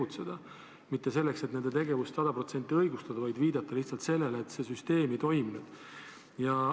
mitte selleks, et nende tegevust sada protsenti õigustada, vaid viitan lihtsalt sellele, et see süsteem ei toiminud.